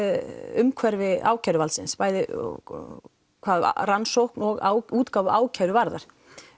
umhverfi ákæruvaldsins bæði hvað rannsókn og útgáfu ákæru varðar